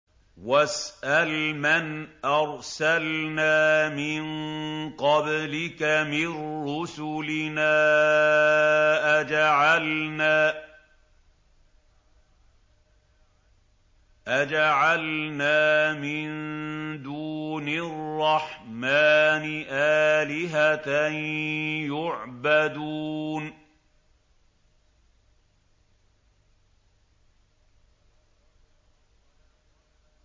وَاسْأَلْ مَنْ أَرْسَلْنَا مِن قَبْلِكَ مِن رُّسُلِنَا أَجَعَلْنَا مِن دُونِ الرَّحْمَٰنِ آلِهَةً يُعْبَدُونَ